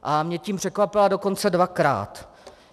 A mě tím překvapila dokonce dvakrát.